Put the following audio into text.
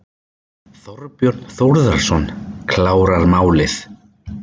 Þorbjörn Þórðarson: Klára málið?